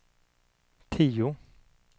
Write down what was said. tio